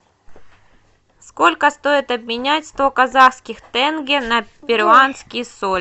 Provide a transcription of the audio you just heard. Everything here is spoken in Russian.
сколько стоит обменять сто казахских тенге на перуанский соль